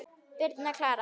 Birna Klara.